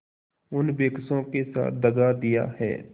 उन बेकसों के साथ दगा दिया है